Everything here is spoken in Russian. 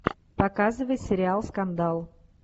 показывай сериал скандал